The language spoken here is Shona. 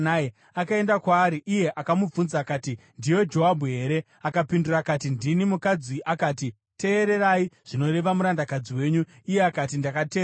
Akaenda kwaari, iye akamubvunza akati, “Ndiwe Joabhu here?” Akapindura akati, “Ndini.” Mukadzi akati, “Teererai zvinoreva murandakadzi wenyu.” Iye akati, “Ndakateerera.”